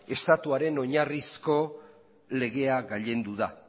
estatuaren oinarrizko legea gailendu da